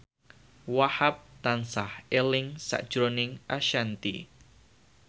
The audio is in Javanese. Wahhab tansah eling sakjroning Ashanti